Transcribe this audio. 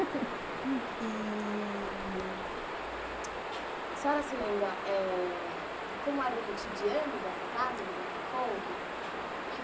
E a senhora se lembra eh como era o cotidiano dessa casa do Botafogo?